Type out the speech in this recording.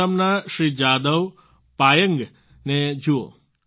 આસામના શ્રી જાદવ પાયેન્ગ ને જ જુઓ